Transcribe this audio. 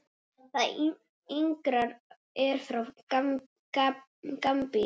Það yngra er frá Gambíu.